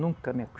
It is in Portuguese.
Nunca me